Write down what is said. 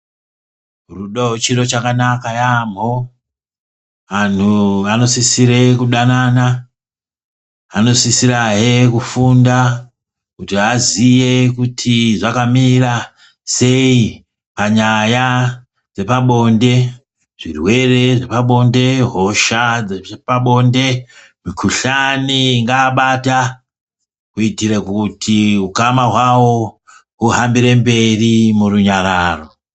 Rudo chiro chakanaka yaampho, anthu vanosisire kudanana, vanosisirahe kufunda, kuti vaziye kuti zvakamira sei? Panyaya dzepabonde, zvirwere zvepabonde, hosha dzepabonde, mikhuhlani ingaabata, kuitira kuti ukama hwawo, huhambire mberi murunyararo.